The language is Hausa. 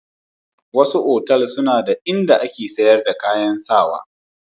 Wasu otal suna da in da ake sayar da kayan sawa.